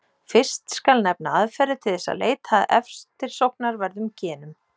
Fyrst skal nefna aðferðir til þess að leita að eftirsóknarverðum genum.